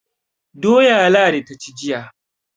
Doya Ladi ta ci jiya.